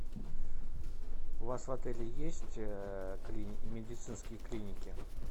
у вас в отеле есть медицинские клиники